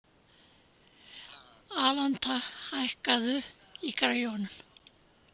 Alanta, hækkaðu í græjunum.